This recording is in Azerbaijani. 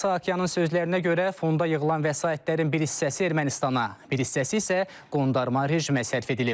Saakyanın sözlərinə görə fonda yığılan vəsaitlərin bir hissəsi Ermənistana, bir hissəsi isə Qondarma rejimə sərf edilib.